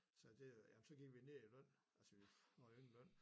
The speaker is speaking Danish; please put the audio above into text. Sagde det jamen så gik vi ned i løn altså vi får jo ingen løn